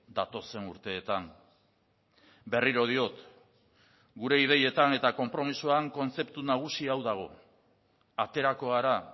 datozen urteetan berriro diot gure ideietan eta konpromisoan kontzeptu nagusi hau dago aterako gara